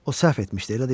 O səhv etmişdi, elə deyil?